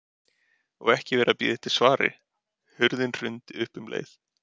Og ekki verið að bíða eftir svari, hurðinni hrundið upp um leið.